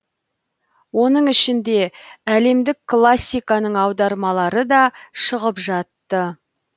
оның ішінде әлемдік классиканың аудармалары да шығып жатты